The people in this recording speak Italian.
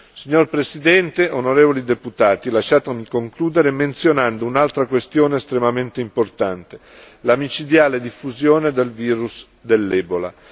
Signor Presidente, onorevoli deputati, lasciatemi concludere menzionando un'altra questione estremamente importante la micidiale diffusione del virus dell'Ebola.